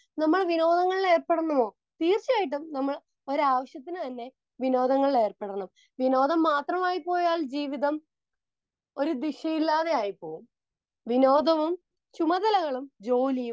Speaker 2 നമ്മൾ വിനോദങ്ങളിൽ ഏർപ്പെടണമോ? തീർച്ചയായിട്ടും നമ്മൾ ഒരാവശ്യത്തിനുതന്നെ വിനോദങ്ങളിൽ ഏർപ്പെടണം. വിനോദം മാത്രമായിപ്പോയാൽ ജീവിതം ഒരു ദിശയില്ലാതെ ആയിപ്പോകും. വിനോദവും ചുമതലകളും ജോലിയും